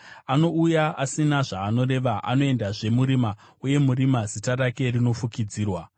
Anouya asina zvaanoreva anoendazve murima, uye murima zita rake rinofukidzirwa.